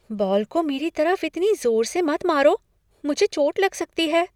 Ball को मेरी तरफ इतनी जोर से मत मारो। मुझे चोट लग सकती है।